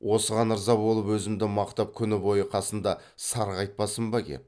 осыған ырза болып өзімді мақтап күні бойы қасында сарғайтпасын ба кеп